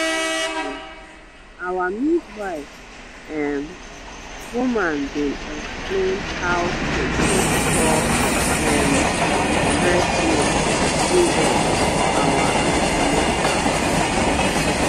actually our midwife um woman bin explain how to take store um breast milk give us for our an ten atal dem.